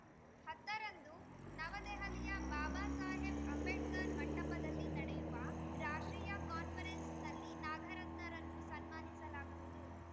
ಹತ್ತರಂದು ನವದೆಹಲಿಯ ಬಾಬಾ ಸಾಹೇಬ್‌ ಅಂಬೇಡ್ಕರ್‌ ಮಂಟಪದಲ್ಲಿ ನಡೆಯುವ ರಾಷ್ಟ್ರೀಯ ಕಾನ್ಫರೆನ್ಸ್‌ನಲ್ಲಿ ನಾಗರತ್ನರನ್ನು ಸನ್ಮಾನಿಸಲಾಗುವುದು